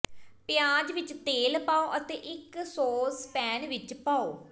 ਪਿਆਜ਼ ਵਿੱਚ ਤੇਲ ਪਾਓ ਅਤੇ ਇਕ ਸੌਸਪੈਨ ਵਿੱਚ ਪਾਓ